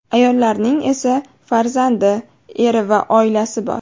Ayollarning esa farzandi, eri va oilasi bor.